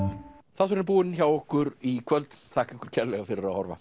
þátturinn er búinn hjá okkur í kvöld þakka ykkur kærlega fyrir að horfa